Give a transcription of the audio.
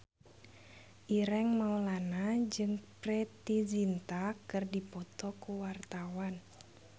Ireng Maulana jeung Preity Zinta keur dipoto ku wartawan